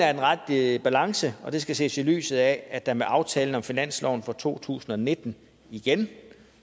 er den rette balance og det skal ses i lyset af at der med aftalen om finansloven for to tusind og nitten igen